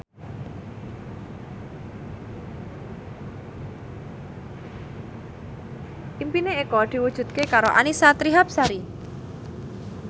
impine Eko diwujudke karo Annisa Trihapsari